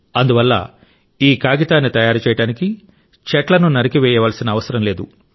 అందువల్ల ఈ కాగితాన్ని తయారు చేయడానికి చెట్లను నరికివేయవలసిన అవసరం లేదు